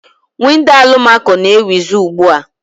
Windo alụmako na-ewizi ugbua.